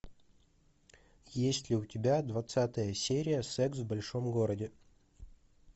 есть ли у тебя двадцатая серия секс в большом городе